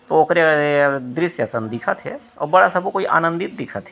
ओकरे ए अअअ ये दृश्य असन दिखत हेअउ बड़ा सबो कोई आन्दित दिखत हे।